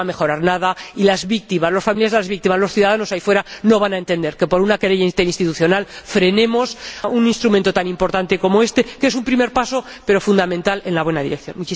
No va a mejorar nada y las víctimas, los familiares de las víctimas y los ciudadanos, ahí afuera, no van a entender que, por una querella interinstitucional, frenemos un instrumento tan importante como este, que es un primer paso, pero fundamental, en la buena dirección.